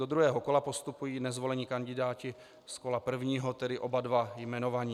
Do druhého kola postupují nezvolení kandidáti z kola prvního, tedy oba dva jmenovaní.